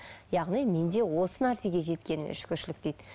яғни менде осы нәрсеге жеткеніме шүкіршілік дейді